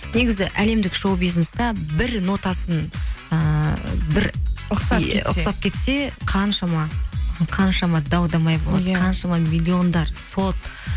негізі әлемдік шоу бизнесте бір нотасын ыыы бір ұқсап кетсе қаншама даудамай болады иә қаншама миллиондар сот